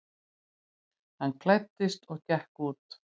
Hann klæddist og gekk út.